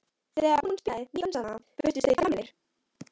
Þegar hún spilaði nýju dansana virtust þeir gamlir.